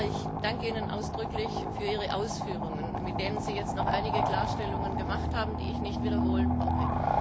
Herr Kommissar, ich danke Ihnen ausdrücklich für Ihre Ausführungen, mit denen Sie jetzt noch einige Klarstellungen gemacht haben, die ich nicht zu wiederholen brauche.